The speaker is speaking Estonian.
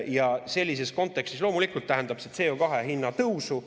Ja sellises kontekstis loomulikult tähendab see CO2 hinna tõusu.